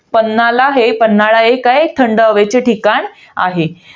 पान्हाला हे~ पन्हाळा हे काये थंड हवेचे ठिकाण आहे.